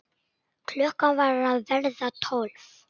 Klukkan var að verða tólf.